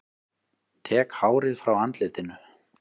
Tek hárið frá andlitinu.